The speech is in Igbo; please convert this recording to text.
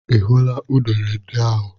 Ị hụla unere ndị ahụ?